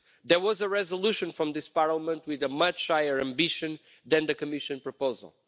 There was a resolution from this Parliament with much higher ambition than the Commission proposal.